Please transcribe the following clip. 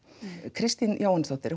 Kristín Jóhannesdóttir